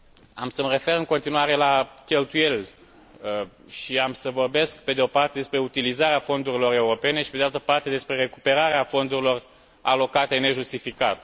Am să mă refer în continuare la cheltuieli și am să vorbesc, pe de o parte, despre utilizarea fondurilor europene și, pe de altă parte, despre recuperarea fondurilor alocate nejustificat.